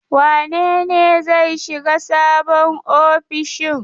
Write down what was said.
Wane ne zai shiga sabon ofishin?